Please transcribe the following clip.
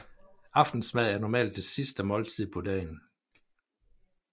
Aftensmad er normalt det sidste måltid på dagen